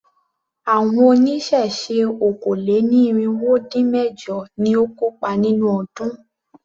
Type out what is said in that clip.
Àwọn oníṣẹ̀ṣe okòó-lé-ní-irínwó-dín-mẹ̀jọ ni ó kópa nínú ọdún.